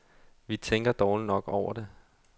Vi tænker dårligt nok over det.